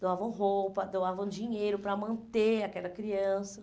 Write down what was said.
doavam roupa, doavam dinheiro para manter aquela criança.